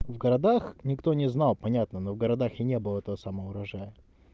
в городах никто не знал понятно но в городах и не было этого самого урожая